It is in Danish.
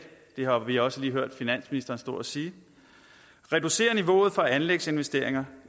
har vi også lige hørt finansministeren stå og sige reducere niveauet for anlægsinvesteringer